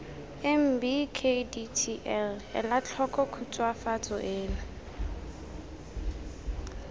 mbkdtl ela tlhoko khutswafatso eno